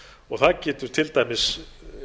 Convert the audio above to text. og það getur til dæmis